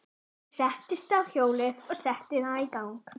Hún settist á hjólið og setti það í gang.